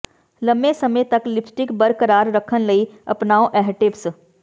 ਲੰਮੇਂ ਸਮੇਂ ਤੱਕ ਲਿਪਸਟਿਕ ਬਰਕਰਾਰ ਰੱਖਣ ਲਈ ਅਪਣਾਓ ਇਹ ਟਿਪਸ